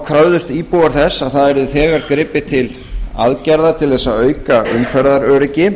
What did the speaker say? kröfðust íbúar þess að það yrði þegar gripið til aðgerða til að auka umferðaröryggi